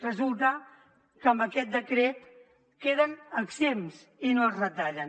resulta que amb aquest decret en queden exempts i no es retallen